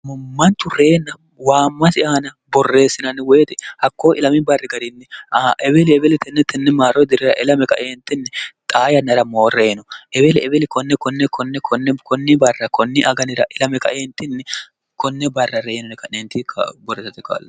mummantu reyina waammasi aana borreessinanni woyite hakkoo il barri garinniebeeli ebelitinnitinni maaro dirira ila kaee0nni xaa yannara moo reyino ebeeliebeeli koneke koni barra konni aganira il kae0nni konne barra reyinone ka'neentiborreeste k